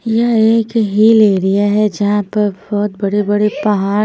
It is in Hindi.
यह एक हिल एरिया है जहाँ पर बहुत बड़े बड़े पहाड़ --